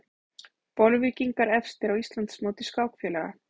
Bolvíkingar efstir á Íslandsmóti skákfélaga